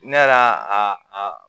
Ne yɛrɛ a a